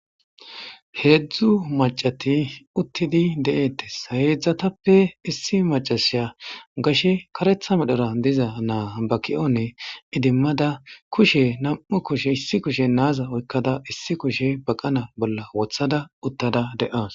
Hedzdzu maccati uttidi de'etes ha hedzdzatappe issi maccasiya gashe kareththa medhora dizza na'a ba ki'on edimmada kushe Nam'u kushshe issi kushen naza oyikkada issi kushshe baqqanan woththada uttada de'awus